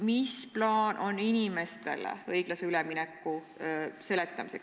Milline on plaan inimestele õiglase ülemineku seletamiseks?